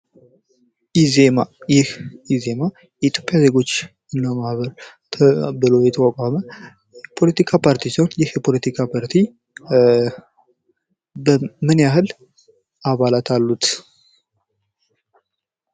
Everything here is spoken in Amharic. ኢዜማ፦ ይህ ኢዜማ የኢትዮጵያ ዜጎች ማህበር የተቋቋመ የፖለቲካ ፓርቲ ሲሆን ይህ የፖለቲካ ፓርቲ ምን ያህል አባላት አሉት?